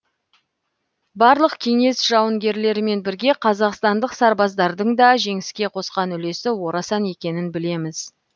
барлық кеңес жауынгерлерімен бірге қазақстандық сарбаздардың да жеңіске қосқан үлесі орасан екенін білеміз